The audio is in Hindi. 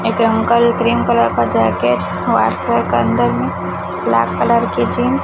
एक अंकल ग्रीन कलर का जैकेट व्हाइट कलर के अन्दर में ब्लैक कलर की जींस --